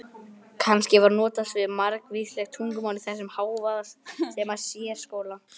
Kannski var notast við margvísleg tungumál í þessum hávaðasama sérskóla?